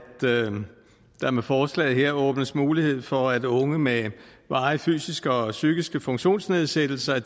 der med forslaget her åbnes mulighed for at unge med varige fysiske og psykiske funktionsnedsættelser